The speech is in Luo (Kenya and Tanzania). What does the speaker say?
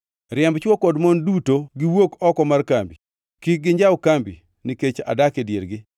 Riemb chwo kod mon duto mondo giwuok oko mar kambi; kik ginjaw kambi nikech adak e diergi.”